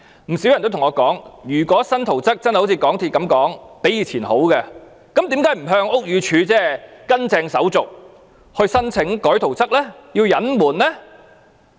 不少人曾向我說，如果新圖則真的如港鐵公司所說般較以前的好，為何不依從正式手續向屋宇署申請改動圖則而要隱瞞呢？